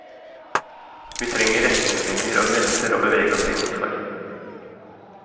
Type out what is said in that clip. Vi trenger retningslinjer og grenser å bevege oss innenfor.